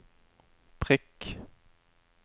prikk